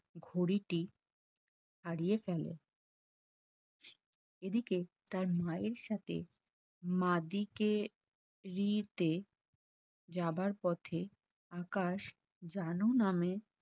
ঘড়িটি হারিয়ে ফেলে এদিকে তার মায়ের সাথে মাদিকে দিতে যাবার পথে আকাশ জানু নামে